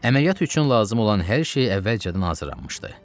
Əməliyyat üçün lazım olan hər şey əvvəlcədən hazırlanmışdı.